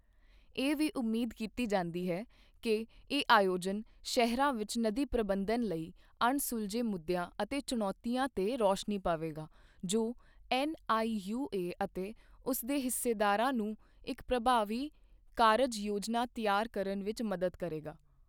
ਇਹ ਵੀ ਉਮੀਦ ਕੀਤੀ ਜਾਂਦੀ ਹੈ ਕਿ ਇਹ ਆਯੋਜਨ ਸ਼ਹਿਰਾਂ ਵਿੱਚ ਨਦੀ ਪ੍ਰਬੰਧਨ ਲਈ ਅਣਸੁਲਝੇ ਮੁੱਦਿਆਂ ਅਤੇ ਚੁਣੌਤੀਆਂ ਤੇ ਰੌਸ਼ਨੀ ਪਾਵੇਗਾ, ਜੋ ਐੱਨਆਈਯੂਏ ਅਤੇ ਉਸ ਦੇ ਹਿੱਸੇਦਾਰਾਂ ਨੂੰ ਇੱਕ ਪ੍ਰਭਾਵੀ ਕਾਰਜ ਯੋਜਨਾ ਤਿਆਰ ਕਰਨ ਵਿੱਚ ਮਦਦ ਕਰੇਗਾ।